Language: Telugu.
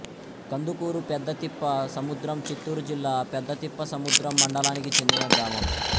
కందుకూరు పెద్దతిప్ప సముద్రం చిత్తూరు జిల్లా పెద్దతిప్పసముద్రం మండలానికి చెందిన గ్రామం